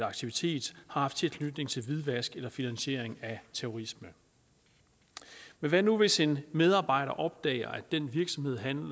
aktivitet har haft tilknytning til hvidvask eller finansiering af terrorisme men hvad nu hvis en medarbejder opdager at den virksomhed han